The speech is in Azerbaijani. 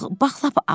Bax, lap az.